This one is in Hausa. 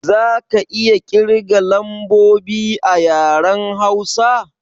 Za ka iya kirga lambobi a yaren Hausa?